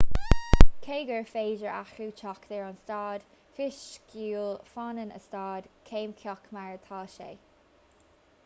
cé gur féidir athrú teacht ar a staid fisiciúil fanann a staid ceimiceach mar atá sé